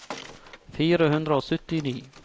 fire hundre og syttini